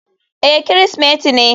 Eh Kirsimeti ne.